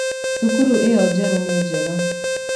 Cukuru ĩyo njerũ nĩ njega